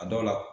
A dɔw la